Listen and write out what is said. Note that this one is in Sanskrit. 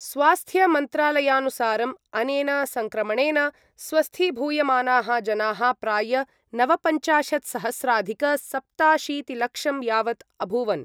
स्वास्थ्यमन्त्रालयानुसारम् अनेन सङ्क्रमणेन स्वस्थीभूयमानाः जनाः प्राय नवपञ्चाशत्सहस्राधिकसप्ताशीतिलक्षं यावत् अभूवन्।